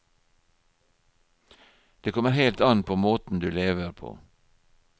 Det kommer helt an på måten du lever på.